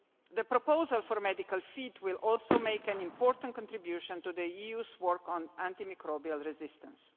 The proposal for medical feed will also make an important contribution to the EU's work on antimicrobial resistance.